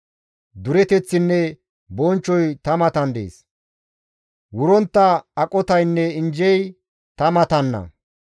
Dureteththinne bonchchoy ta matan deettes; wurontta aqotaynne injjey ta matanna.